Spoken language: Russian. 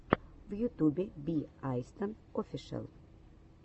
в ютубе би айстон офишэл